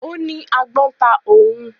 Ó ní agbọ́n ta òun.